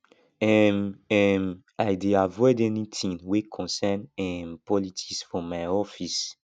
um um i dey avoid anytin wey concern um politics for my office